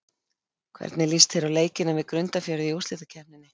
Hvernig líst þér á leikina við Grundarfjörð í úrslitakeppninni?